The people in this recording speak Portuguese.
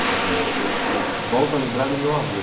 Quer dizer, eu eu volto a lembrar do meu avô.